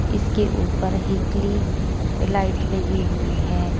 इसके ऊपर हिटली लाइट लगी हुई है।